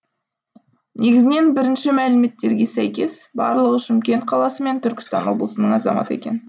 негізінен бірінші мәліметтерге сәйкес барлығы шымкент қаласы мен түркістан облысының азаматы екен